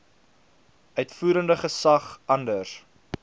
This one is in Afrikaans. uitvoerende gesag anders